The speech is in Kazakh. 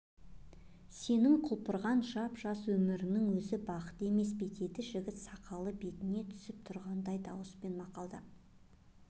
сенің құлпырған жап-жас өміріңнің өзі бақыт емес пе деді жігіт сақалы беліне түсіп тұрғандай дауыспен мақамдап